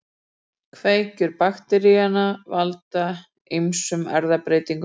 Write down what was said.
Kveikjur bakteríanna valda ýmsum efnabreytingum.